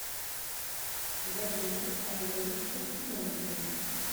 вадиму олеговичу тимонину